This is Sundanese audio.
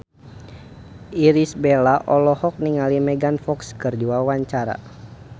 Irish Bella olohok ningali Megan Fox keur diwawancara